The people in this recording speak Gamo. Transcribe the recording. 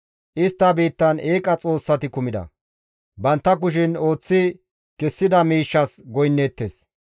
Istta biittan eeqa xoossati kumida; bantta kushen ooththi kessida miishshas goynneettes.